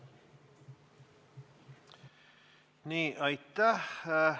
Aitäh!